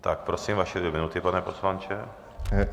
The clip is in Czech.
Tak prosím, vaše dvě minuty, pane poslanče.